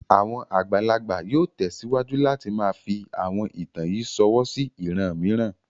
Àwọn àgbàlagbà yóò tẹsiwaju láti máa fi àwọn ìtàn yìí ṣọwọ́ sí ìran mìíràn.